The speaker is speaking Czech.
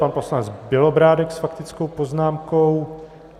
Pan poslanec Bělobrádek s faktickou poznámkou.